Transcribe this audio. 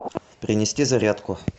принести зарядку